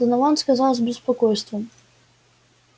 донован сказал с беспокойством